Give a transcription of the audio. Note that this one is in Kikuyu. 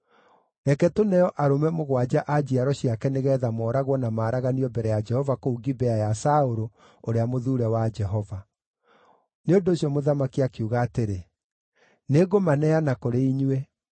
reke tũneo arũme mũgwanja a njiaro ciake nĩgeetha mooragwo na maraganio mbere ya Jehova kũu Gibea ya Saũlũ, ũrĩa mũthuure wa Jehova.” Nĩ ũndũ ũcio mũthamaki akiuga atĩrĩ, “Nĩngũmaneana kũrĩ inyuĩ.”